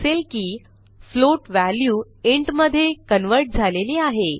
दिसेल की float value int मधे कन्व्हर्ट झालेली आहे